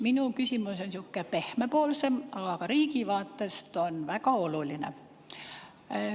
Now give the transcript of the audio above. Minu küsimus on sihuke pehmepoolsem, aga riigi vaatest on see väga oluline.